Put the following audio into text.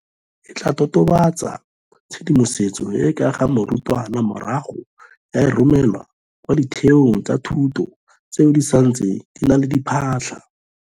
E tla totobatsa tshedimosetso e e ka ga morutwana morago ya e romela kwa ditheong tsa thuto tseo di santseng di na le diphatlha.